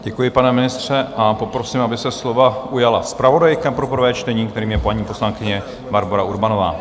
Děkuji, pane ministře, a poprosím, aby se slova ujala zpravodajka pro prvé čtení, kterou je paní poslankyně Barbora Urbanová.